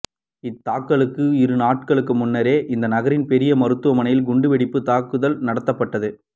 இத்தாக்குதலுக்கு இரு நாட்களுக்கு முன்னர் இந்நகரின் பெரிய மருத்துவமனையில் குண்டு வெடிப்புத் தாக்குதல் நடத்தப்பட்டது